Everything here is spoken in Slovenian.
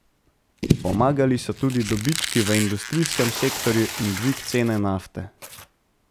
Pomagali so tudi dobički v industrijskem sektorju in dvig cene nafte.